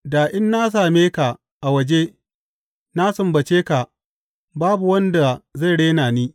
Da in na same ka a waje, na sumbace ka, babu wanda zai rena ni.